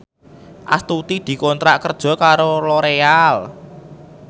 Astuti dikontrak kerja karo Loreal